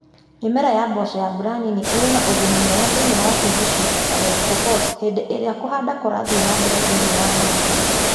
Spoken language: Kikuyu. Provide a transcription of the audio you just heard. Mi͂mera ya mboco ya mbura nini i͂ri͂ na u͂guni mwega thi͂ini͂ wa Uasin Gishu na West Pokot hi͂ndi͂ i͂ri͂a ku͂handa ku͂rathii͂ na mbere thi͂ini͂ wa Nandi,